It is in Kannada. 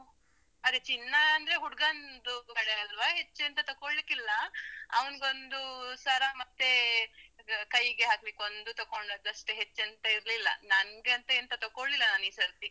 ಅದೇ ಚಿನ್ನಾ ಅಂದ್ರೆ ಹುಡ್ಗಂದು ಕಡೆ ಅಲ್ವ ಹೆಚ್ಚ್ ಎಂತ ತೊಕೊಳ್ಳಿಕ್ಕಿಲ್ಲಾ. ಅವ್ನ್ಗೊಂದು ಸರ ಮತ್ತೆ ಕೈಗೆ ಹಾಕ್ಲಿಕ್ ಒಂದು ತೊಗೊಂಡದಷ್ಟೇ ಹೆಚ್ಚ್ ಎಂತ ಇರ್ಲಿಲ್ಲ. ನಂಗೆ ಅಂತ ಎಂತ ತೊಕೊಳ್ಳಿಲ್ಲಾ ನಾನ್ ಈ ಸರ್ತಿ.